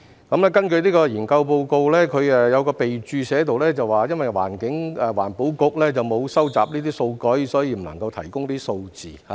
這份研究報告有一項備註寫着，因為環境局沒有收集這些數據，所以不能夠提供數字。